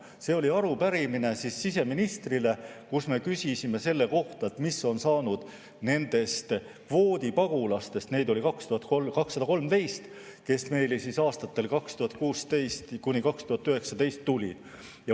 See oli arupärimine siseministrile, kus me küsisime selle kohta, mis on saanud nendest kvoodipagulastest – neid oli 213 –, kes meile aastatel 2016–2019 tulid.